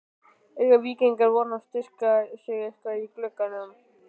Eiga Víkingar von á að styrkja sig eitthvað í glugganum?